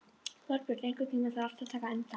Þorbjörn, einhvern tímann þarf allt að taka enda.